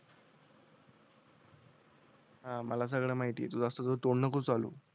हा मला सगळं माहिते तू जास्त तोंड नको चालवू